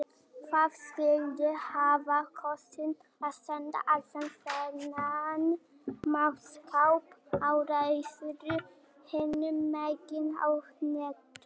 Hvað skyldi hafa kostað að senda allan þennan mannskap á ráðstefnu hinum megin á hnettinum?